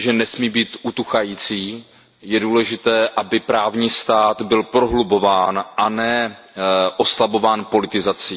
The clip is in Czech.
Myslím si, že nesmí být utuchající, je důležité, aby právní stát byl prohlubován a ne oslabován politizací.